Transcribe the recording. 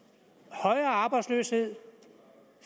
højere arbejdsløshed